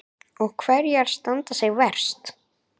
Og hverjar standa sig verst?